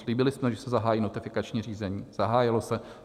Slíbili jsme, že se zahájí notifikační řízení, zahájilo se.